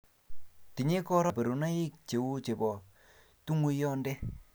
tinyei korona kaborunoik cheu chebo tunguyonde